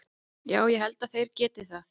Já ég held að þeir geti það.